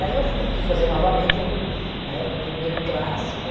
Daí eu fui fui fazer novamente o, na época, o primeiro clássico,